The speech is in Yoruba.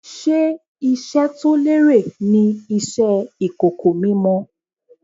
Ṣé iṣẹ́ to lérè ni Iṣẹ́ ìkòkò mímọ?